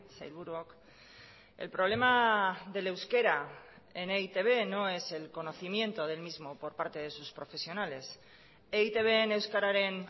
sailburuok el problema del euskera en e i te be no es el conocimiento del mismo por parte de sus profesionales eitbn euskararen